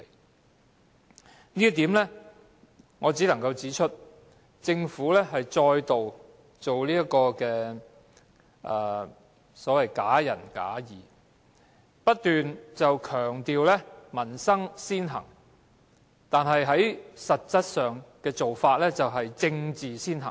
就這一點，我只能夠指出，政府再度假仁假義，不斷強調民生先行，但實際上的做法是政治先行。